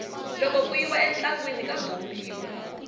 loko ku yiwa entlangwini ka bombiwa